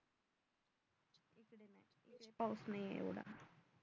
पाऊस नाहीये एवढा